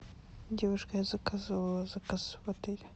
девушка я заказывала заказ в отеле